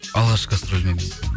алғашқы гастролім емес